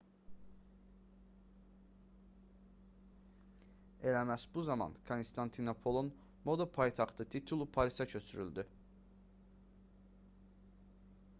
elə məhz bu zaman konstantinopolun moda paytaxtı titulu parisə köçürüldü